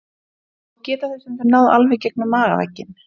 Þó geta þau stundum náð alveg gegnum magavegginn.